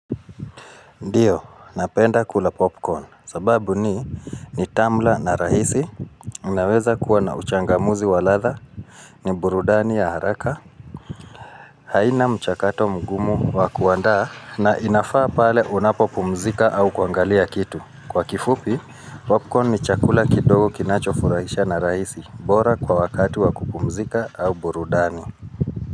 Ndiyo, napenda kula popcorn, sababu ni ni tamu la na rahisi, naweza kuwa na uchangamuzi waladha, ni burudani ya haraka, haina mchakato mgumu wakuandaa na inafaa pale unapo pumzika au kuangalia kitu. Kwa kifupi, popcorn ni chakula kidogo kinacho furahisha na rahisi, bora kwa wakati wa kupumzika au burudani.